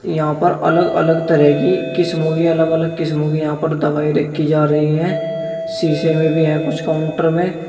यहां पर अलग अलग तरह की किस्मों की अलग अलग किस्मों कि यहां पर दवाई रखी जा रही है शीशे में भी है कुछ काउंटर में।